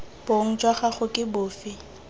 bong jwa gago ke bofe